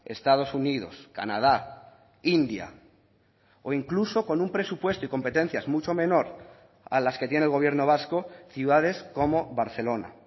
estados unidos canadá india o incluso con un presupuesto y competencias mucho menor a las que tiene el gobierno vasco ciudades como barcelona